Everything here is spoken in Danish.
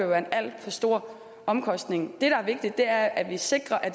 være en alt for stor omkostning det der er vigtigt er at vi sikrer at